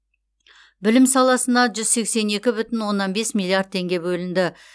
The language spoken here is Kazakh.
білім саласына жүз сексен екі бүтін оннан бес миллиард теңге бөлінді